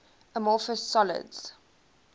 amorphous solids